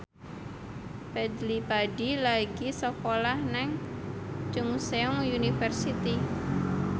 Fadly Padi lagi sekolah nang Chungceong University